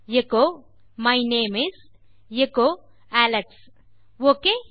echo my name is echo Alex okay